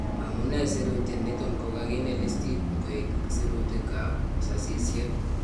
Amunee sirutyet niton kokakinde listiit koek sirutiikab sasisyeet